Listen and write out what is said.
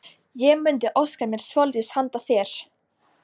Ég mundi óska mér svolítils handa þér!